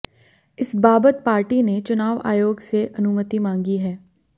इस बाबत पार्टी ने चुनाव आयोग से अनुमति मांगी है